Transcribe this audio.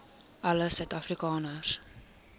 alle suid afrikaners